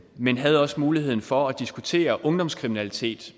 men havde også muligheden for at diskutere ungdomskriminalitet